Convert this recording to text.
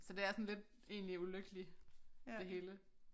Så det er sådan lidt egentlig ulykkelig det hele